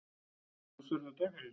Ertu ljóshærður eða dökkhærður?